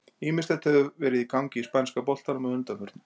Ýmislegt hefur verið í gangi í spænska boltanum að undanförnu.